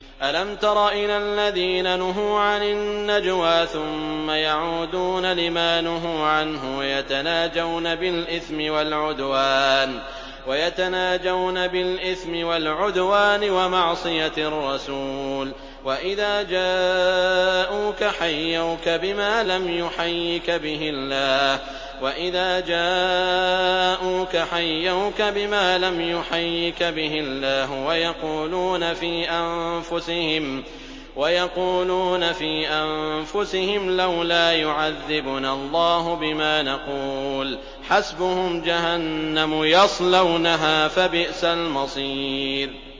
أَلَمْ تَرَ إِلَى الَّذِينَ نُهُوا عَنِ النَّجْوَىٰ ثُمَّ يَعُودُونَ لِمَا نُهُوا عَنْهُ وَيَتَنَاجَوْنَ بِالْإِثْمِ وَالْعُدْوَانِ وَمَعْصِيَتِ الرَّسُولِ وَإِذَا جَاءُوكَ حَيَّوْكَ بِمَا لَمْ يُحَيِّكَ بِهِ اللَّهُ وَيَقُولُونَ فِي أَنفُسِهِمْ لَوْلَا يُعَذِّبُنَا اللَّهُ بِمَا نَقُولُ ۚ حَسْبُهُمْ جَهَنَّمُ يَصْلَوْنَهَا ۖ فَبِئْسَ الْمَصِيرُ